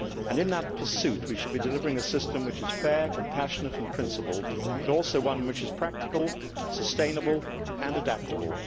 In that pursuit, we should be delivering a system which is fair, compassionate and principled, but also one which is practical, sustainable and adaptable.